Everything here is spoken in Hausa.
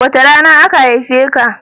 Wace rana aka haife ka?